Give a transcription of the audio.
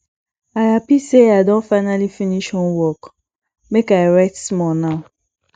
i happy sey i don finally finish homework make i rest small now